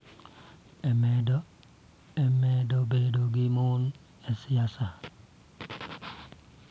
E medo bedo gi mon e siasa,